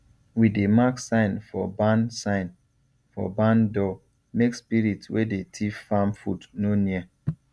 we dey mark sign for barn sign for barn door make spirit wey dey thief farm food no near